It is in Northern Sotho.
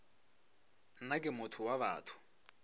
nna ke motho wa batho